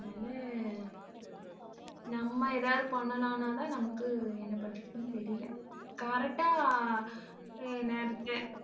அதனால, நம்ம எதாவது பண்ணலாம்னாதான் நமக்கு என்ன பண்றதுன்னு தெரியலே correct ஆ நேரத்துக்கு